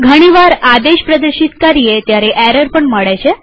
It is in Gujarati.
ઘણીવાર આદેશ પ્રદર્શિત કરીએ ત્યારે ઘણી વાર એરર પણ મળે છે